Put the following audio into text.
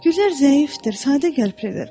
Güllər zəifdir, sadəqəlblidir.